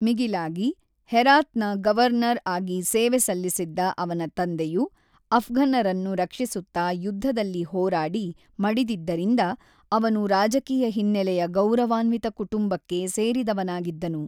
ಮಿಗಿಲಾಗಿ, ಹೆರಾತ್‌ನ ಗವರ್ನರ್ ಆಗಿ ಸೇವೆ ಸಲ್ಲಿಸಿದ್ದ ಅವನ ತಂದೆಯು ಅಫ್ಘನ್ನರನ್ನು ರಕ್ಷಿಸುತ್ತಾ ಯುದ್ಧದಲ್ಲಿ ಹೋರಾಡಿ ಮಡಿದಿದ್ದರಿಂದ ಅವನು ರಾಜಕೀಯ ಹಿನ್ನೆಲೆಯ ಗೌರವಾನ್ವಿತ ಕುಟುಂಬಕ್ಕೆ ಸೇರಿದವನಾಗಿದ್ದನು.